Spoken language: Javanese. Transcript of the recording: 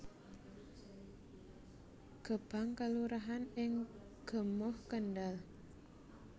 Gebang kelurahan ing Gemuh Kendhal